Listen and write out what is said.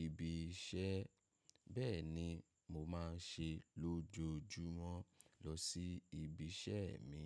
ibi iṣẹ́. Bẹ́ẹ̀ ni mo máa ń ṣe lójoojúmọ́ lọ sí ibi iṣẹ́ mi.